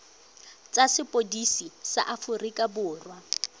tsa sepodisi sa aforika borwa